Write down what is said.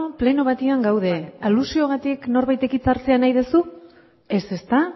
pleno batean gaude alusioagatik norbaitek hitza hartzea nahi dezu ez ezta